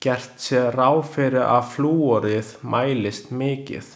Gert sé ráð fyrir að flúorið mælist mikið.